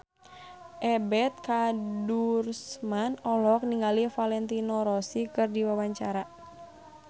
Ebet Kadarusman olohok ningali Valentino Rossi keur diwawancara